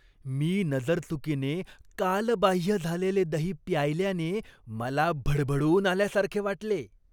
मी नजरचुकीने कालबाह्य झालेले दही प्यायल्याने मला भडभडून आल्यासारखे वाटले.